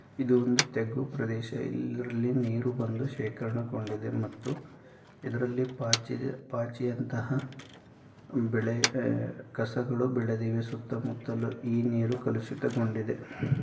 ಇದು ಒಂದು ತಗ್ಗು ಪ್ರದೇಶ. ಇಲ್ಲಿ ಇದರಲ್ಲಿ ನೀರು ಬಂದು ಶೇಖರಣೆಗೊಂಡಿದೆ ಮತ್ತು ಇದರಲ್ಲಿ ಪಾಚಿ ಪಾಚಿಯಂತಹ ಉಮ್ ಬೆಳೆ ಹ್ ಕಸಗಳು ಬೆಳೆದಿವೆ ಸುತ್ತಮುತ್ತಲು ಈ ನೀರು ಕಲುಷಿತಗೊಂಡಿದೆ.